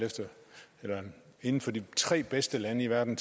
inden for de tre bedste lande i verden